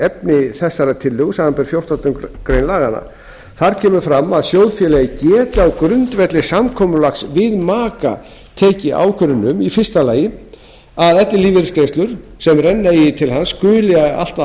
efni tillögu þessarar samanber fjórtándu greinar laganna þar kemur fram að sjóðfélagi geti á grundvelli samkomulags við maka tekið ákvörðun um í fyrsta lagi að ellilífeyrisgreiðslur sem renna eiga til hans skuli allt að